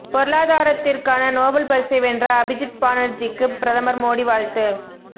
பொருளாதாரத்திற்கான Nobel பரிசை வென்ற அபிஜித் பானர்ஜிக்கு பிரதமர் மோடி வாழ்த்து